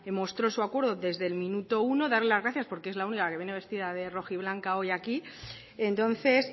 mostró su acuerdo desde el minuto uno darle las gracias porque es la única que viene vestida de rojiblanca hoy aquí entonces